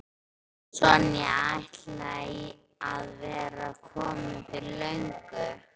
Sonja ætlaði að vera komin fyrir löngu.